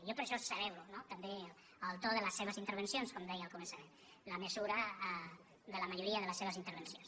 jo per això celebro també el to de les seves intervencions com deia al començament la mesura de la majoria de les seves intervencions